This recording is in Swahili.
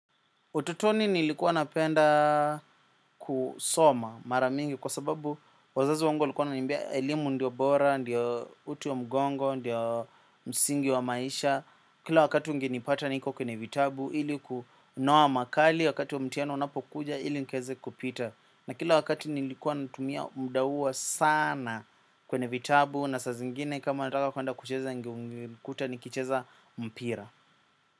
Utotoni nilikuwa napenda kusoma mara mingi kwa sababu wazazi wangu walikuwa wananiambia elimu ndio bora, ndio uti wa mgongo, ndio msingi wa maisha. Kila wakati ungenipata niko kwenye vitabu ili kunoa makali wakati wa mtihani unapokuja ili nikaeze kupita. Na kila wakati nilikuwa natumia muda huo sana kwenye vitabu na saa zingine kama nataka kwenda kucheza ungenikuta nikicheza mpira.